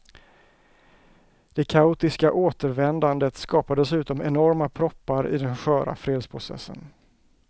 Det kaotiska återvändandet skapar dessutom enorma proppar i den sköra fredsprocessen.